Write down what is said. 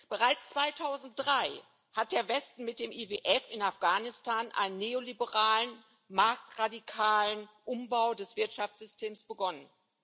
Bereits 2003 hat der Westen mit dem IWF in Afghanistan einen neoliberalen, marktradikalen Umbau des Wirtschaftssystems begonnen.